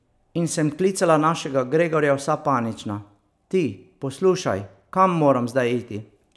In sem klicala našega Gregorja vsa panična: 'Ti, poslušaj, kam moram zdaj iti?